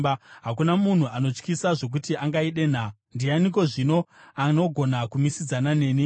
Hakuna munhu anotyisa zvokuti angaidenha. Ndianiko zvino anogona kumisidzana neni?